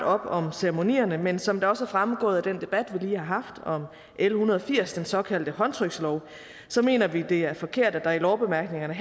op om ceremonierne men som det også er fremgået af den debat vi lige har haft om l en hundrede og firs den såkaldte håndtrykslov mener vi det er forkert at der i lovbemærkningerne